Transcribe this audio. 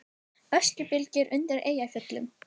Öskubylur undir Eyjafjöllum